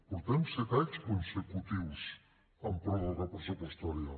portem set anys consecutius amb pròrroga pressupostària